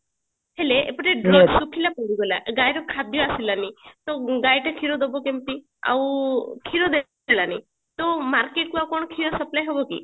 ହେଲେ ଏପଟେ ଶୁଖିଲା ପଡିଗଲା ଗାଈର ଖାଦ୍ଯ ଆସିଲାନି ତ ଗାଈଟି କ୍ଷୀର ଦବ କେମତି ଆଉ କ୍ଷୀର ଦେଲାନି ତ market କୁ ଆଉ କଣ କ୍ଷୀର supply ହବକି